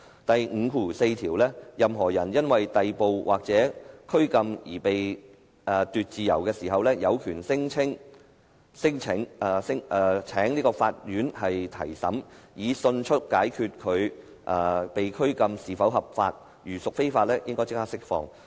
"第五條第四款訂明："任何人因逮捕或拘禁而被奪自由時，有權聲請法院提審，以迅速決定其拘禁是否合法，如屬非法，應即令釋放。